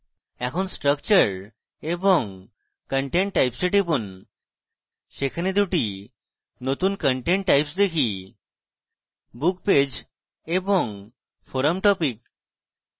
এখন structure এবং content types a টিপুন সেখানে দুটি নতুন content types দেখিbook page এবং forum topic